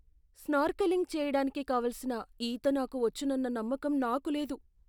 Snorkelling చేయడానికి కావాల్సిన ఈత నాకు వచ్చునన్న నమ్మకం నాకు లేదు.